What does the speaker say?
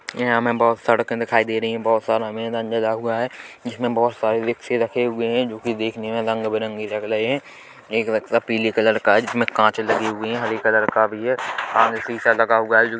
यहाँ हमें बहुत सड़के दिखाई दे रही हैं बहुत सारा लगा हुआ है जिसमे बहुत सारे रिक्शे रखे हुए जो कि देखने में रंग बिरंगे लग रहे हैं एक रक्शा पीली कलर का हैं जिसमे कांच लगी हुई हैं हरी कलर का भी हैं आगे शीशा लगा हुआ है जो की--